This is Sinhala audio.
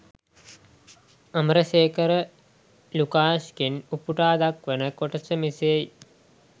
අමරසේකර ලුකාෂ්ගෙන් උපුටා දක්වන කොටස මෙසේයි.